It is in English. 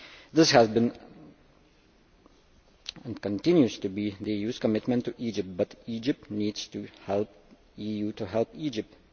This has been and continues to be the EU's commitment to Egypt, but Egypt needs to help the EU to help Egypt.